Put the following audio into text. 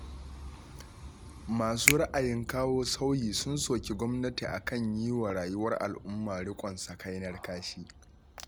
Masu ra'ayin kawo sauyi sun soki gwamnati a kan yi wa rayuwar al'umma riƙon sakainar kashi